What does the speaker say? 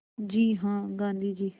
जी हाँ गाँधी जी